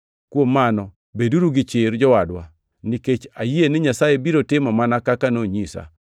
Kuom mano, beduru gi chir, jowadwa, nikech ayie ni Nyasaye biro timo mana kaka nonyisa.